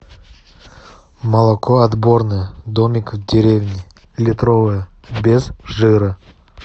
молоко отборное домик в деревне литровое без жира